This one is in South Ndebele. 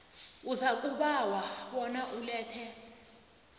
uzakubawa bona ulethe